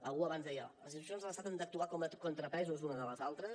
algú abans deia les institucions de l’estat han d’actuar com a contrapesos unes de les altres